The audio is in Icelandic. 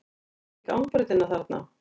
Sérðu ekki gangbrautina þarna?